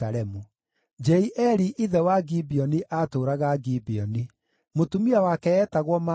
Jeieli ithe wa Gibeoni aatũũraga Gibeoni. Mũtumia wake eetagwo Maaka,